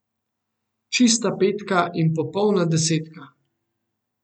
Čista petka in popolna desetka.